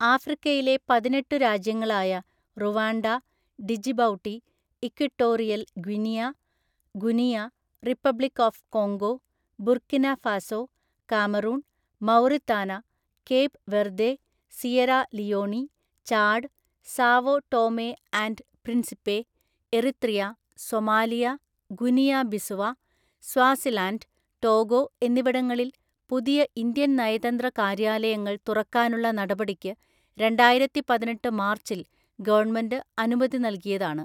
ആഫ്രിക്കയിലെ പതിനെട്ടു രാജ്യങ്ങളായ Rwanda, Djibouti, Equatorial‍ Guinea, Guinea, Republic of Congo, Burkina Faso, Cameroon, Mauritania, Cape Verde, Sierra Leone, Chad, Sao Tome and Principe, Eritrea, Somalia, Guinea Bissau, Swaziland, Togo എന്നിവിടങ്ങളിൽ പുതിയ Indian‍ നയതന്ത്ര കാര്യാലയങ്ങള്‍ തുറക്കാനുള്ള നടപടിക്ക് രണ്ടായിരത്തിപതിനെട്ട് മാർച്ചില്‍ ഗവണ്മെന്റ് അനുമതി നൽകിയതാണ്.